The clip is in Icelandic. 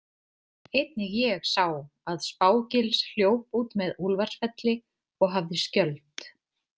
Einnig ég sá að Spá- Gils hljóp út með Úlfarsfelli og hafði skjöld.